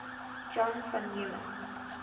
john von neumann